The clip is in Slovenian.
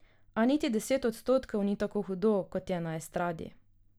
A niti deset odstotkov ni tako hudo, kot je na estradi.